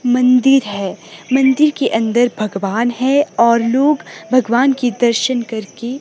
मंदिर है मंदिर के अंदर भगवान है और लोग भगवान के दर्शन करके--